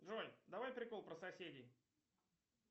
джой давай прикол про соседей